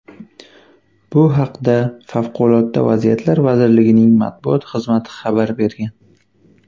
Bu haqda Favqulodda vaziyatlar vazirligining matbuot xizmati xabar bergan .